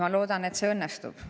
Ma loodan, et see õnnestub.